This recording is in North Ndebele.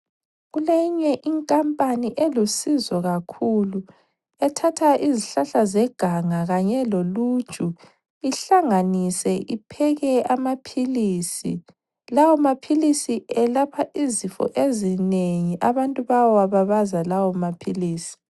Kuleyinye inkampani elusizo kakhulu. Ethatha izihlahla zeganga kanye loluju ihlanganise ipheke amaphilisi. Lawamaphilisi elapha izifo ezinengi abantu bayawababaza lawomaphilisi.